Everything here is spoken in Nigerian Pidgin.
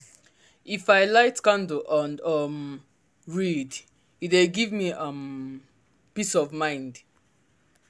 if i light candle and um read e dey give me um peace of mind.